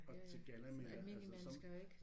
Ja ja sådan almindelige mennesker ikke